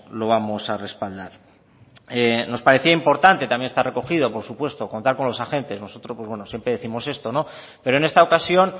lo vamos a respaldar nos parecía importante también está recogido por supuesto contar con los agentes nosotros siempre décimos esto pero en esta ocasión